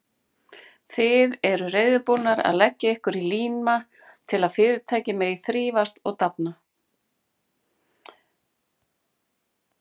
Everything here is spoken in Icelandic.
Þið eruð reiðubúnir að leggja ykkur í líma til að Fyrirtækið megi þrífast og dafna.